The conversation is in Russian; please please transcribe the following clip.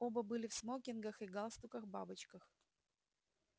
оба были в смокингах и галстуках-бабочках